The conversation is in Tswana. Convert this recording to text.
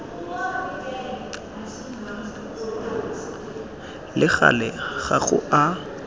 le gale ga go a